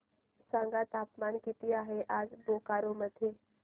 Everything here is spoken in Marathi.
सांगा तापमान किती आहे आज बोकारो मध्ये